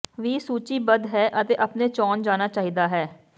ਵੀ ਸੂਚੀਬੱਧ ਹੈ ਅਤੇ ਆਪਣੇ ਚੋਣ ਜਾਣਾ ਚਾਹੀਦਾ ਹੈ